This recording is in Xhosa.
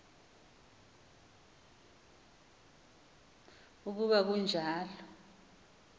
uku ba kanjalo